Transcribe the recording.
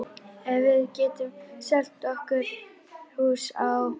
Ef við getum selt okkar hús á